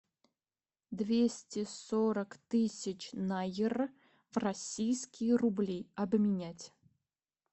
двести сорок тысяч найр в российские рубли обменять